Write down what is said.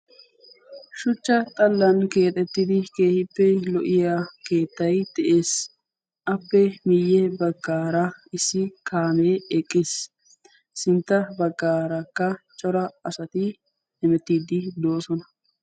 Shuchcha xallan keexettidi keehippe lo'iya keettay de'ees. appe miyye baggaara issi kaamee eqqiis sintta baggaarakka cora asati emettiiddi doosona.